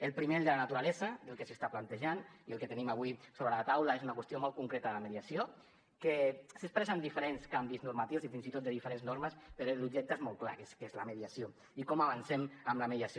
el primer el de la naturalesa del que s’està plantejant i el que tenim avui sobre la taula és una qüestió molt concreta la mediació que s’expressa amb diferents canvis normatius i fins i tot de diferents normes però l’objecte és molt clar que és la mediació i com avancem amb la mediació